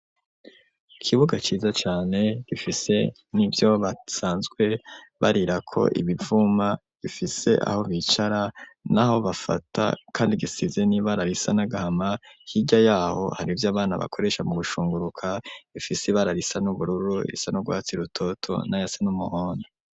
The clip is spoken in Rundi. Ikibuga ciza cane, gifise n'ivyo basanzwe barirako ibivuma, gifise aho bicara n'aho bafata, kandi gisize n'ibara risa n'agahama; hirya y'aho hari ivyo abana bakoresha mu gushunguruka, bifise ibara risa n'ubururu, irisa n'urwatsi rutoto, n'ayasa n'umuhondo.